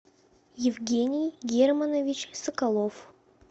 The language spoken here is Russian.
евгений германович соколов